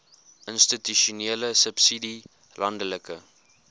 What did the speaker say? institusionele subsidie landelike